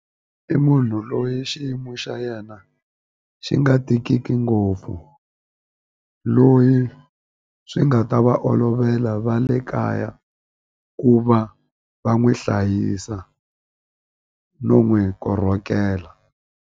I munhu loyi xiyimo xa yena xi nga tikiki ngopfu loyi swi nga ta va olovela va le kaya ku va va n'wi hlayisa no n'wi korhokela.